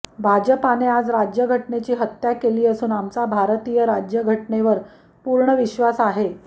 भाजपाने आज राज्यघटनेची हत्या केली असून आमचा भारतीय राज्यघटनेवर पूर्ण विश्वास आहे